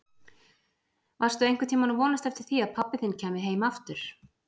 Varstu einhvern tíma að vonast eftir því að pabbi þinn kæmi heim aftur?